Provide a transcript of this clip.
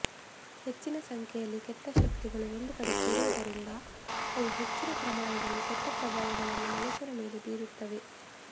ಹೆಚ್ಚಿನ ಸಂಖ್ಯೆಯಲ್ಲಿ ಕೆಟ್ಟ ಶಕ್ತಿಗಳು ಒಂದು ಕಡೆ ಸೇರುವುದರಿಂದ ಅವು ಹೆಚ್ಚಿನ ಪ್ರಮಾಣದಲ್ಲಿ ಕೆಟ್ಟ ಪ್ರಭಾವಗಳನ್ನು ಮನುಷ್ಯರ ಮೇಲೆ ಬೀರುತ್ತವೆ